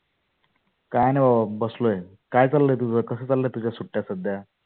काय नाही बाबा बसलोय. काय चाललय तुझ? कशा चालल्या तुझ्या सुट्ट्या सध्या?